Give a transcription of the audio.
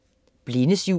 Blindes jul